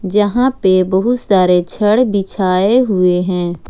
जहां पे बहुत सारे छड़ बिछाए हुए हैं।